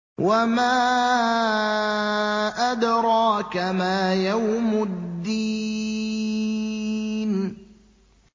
وَمَا أَدْرَاكَ مَا يَوْمُ الدِّينِ